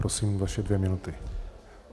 Prosím, vaše dvě minuty.